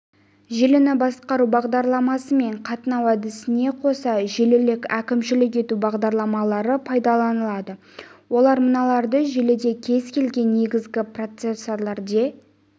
желіні басқару бағдарламасы мен қатынау әдісіне қоса желілік әкімшілік ету бағдарламалары пайдаланылады олар мыналарды желіде кез келген негізгі процессорде